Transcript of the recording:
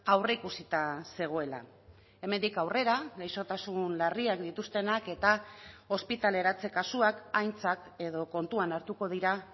aurreikusita zegoela hemendik aurrera gaixotasun larriak dituztenak eta ospitaleratze kasuak aintzat edo kontuan hartuko dira